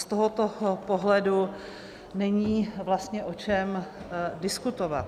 Z tohoto pohledu není vlastně o čem diskutovat.